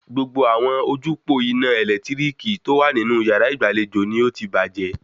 Gbogbo àwọn ojúpòó ina ẹ̀lẹ́tíríkì tó wà nínú yàrá ìgbàlejò ni ó ti bàjẹ́